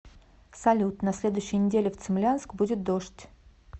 салют на следующей неделе в цимлянск будет дождь